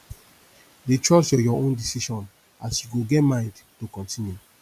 dey trust yur yur own decision as yu go get mind to kontinu